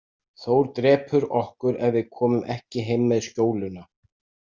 Þór drepur okkur ef við komum ekki heim með skjóluna.